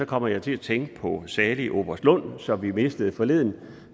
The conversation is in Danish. kommer jeg til at tænke på salig oberst lund som vi mistede forleden